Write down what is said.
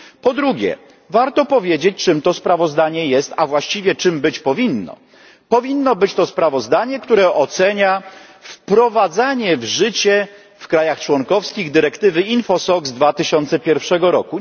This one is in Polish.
Po drugie, warto powiedzieć, czym to sprawozdanie jest, a właściwie czym być powinno powinno być to sprawozdanie, które ocenia wprowadzanie w życie w państwach członkowskich dyrektywy InfoSoc z 2001 r.